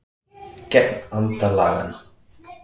Gegn anda laganna